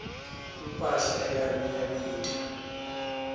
imphahla yami iyabita